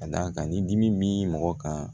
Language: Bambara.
Ka d'a kan ni dimi bɛ mɔgɔ kan